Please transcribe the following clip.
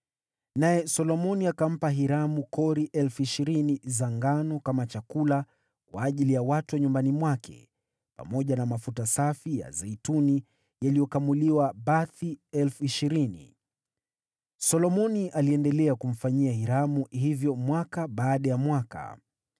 naye Solomoni akampa Hiramu kori 20,000 za ngano kama chakula kwa ajili ya watu wa nyumbani mwake, pamoja na mafuta safi ya zeituni yaliyokamuliwa bathi 20,000. Solomoni aliendelea kumfanyia Hiramu hivyo mwaka baada ya mwaka.